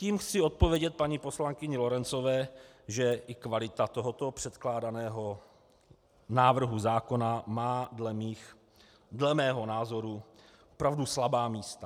Tím chci odpovědět paní poslankyni Lorencové, že i kvalita tohoto předkládaného návrhu zákona má dle mého názoru opravdu slabá místa.